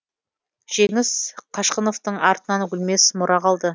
жеңіс қашқыновтың артынан өлмес мұра қалды